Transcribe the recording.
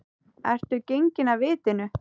Ertu genginn af vitinu?